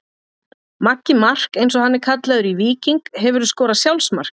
Maggi Mark eins og hann er kallaður í Víking Hefurðu skorað sjálfsmark?